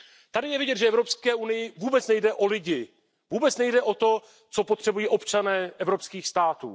Tady je vidět, že Evropské unii vůbec nejde o lidi, vůbec nejde o to, co potřebují občané evropských států.